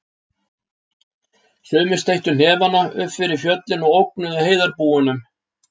Sumir steyttu hnefana upp yfir fjöllin og ógnuðu heiðarbúunum.